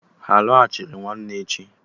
Ha a lọghachiri nwanne echi?